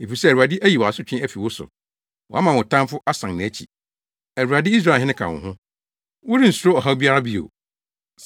Efisɛ Awurade ayi wʼasotwe afi wo so, wama wo tamfo asan nʼakyi. Awurade, Israelhene ka wo ho; worensuro ɔhaw biara bio.